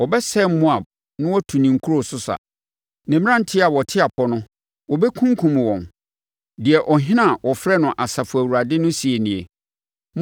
Wɔbɛsɛe Moab na wɔatu ne nkuro so sa; ne mmeranteɛ a wɔte apɔ no, wɔbɛkunkum wɔn,” deɛ Ɔhene a wɔfrɛ no Asafo Awurade no seɛ nie.